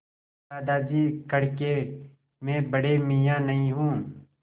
दादाजी कड़के मैं बड़े मियाँ नहीं हूँ